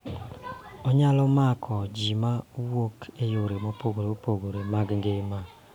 Onyalo mako ji ma wuok e yore mopogore opogore mag ngima